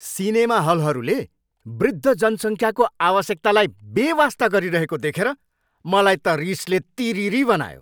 Cinema हलहरूले वृद्ध जनसङ्ख्याको आवश्यकतालाई बेवास्ता गरिरहेको देखेर मलाई त रिसले तिरिरि बनायो।